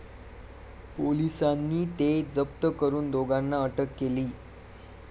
पोलिसांनी ते जप्त करुन दोघांना अटक केली.